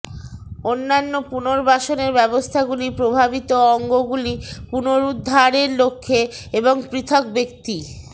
অন্যান্য পুনর্বাসনের ব্যবস্থাগুলি প্রভাবিত অঙ্গগুলি পুনরুদ্ধারের লক্ষ্যে এবং পৃথক ব্যক্তি